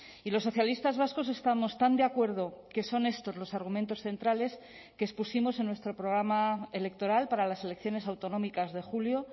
y los socialistas vascos estamos tan de acuerdo que son estos los argumentos centrales que expusimos en nuestro programa electoral para las elecciones autonómicas de julio